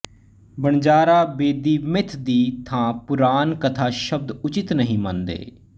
Vanjara Bedi myth ਦੀ ਥਾਂ ਪੁਰਾਨ ਕਥਾ ਸ਼ਬਦ ਉਚਿਤ ਨਹੀਂ ਮੰਨਦੇ